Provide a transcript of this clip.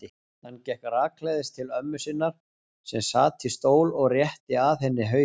Hann gekk rakleiðis til ömmu sinnar sem sat í stól og rétti að henni hausinn.